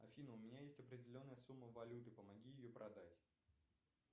афина у меня есть определенная сумма валюты помоги ее продать